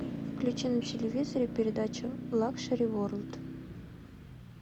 включи на телевизоре передачу лакшери ворлд